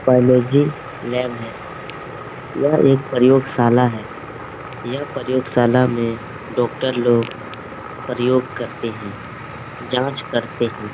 Biology lab है यह एक प्रयोगशाला है यह प्रयोगशाला में डॉक्टर लोग प्रयोग करते हैं जांच करते हैं।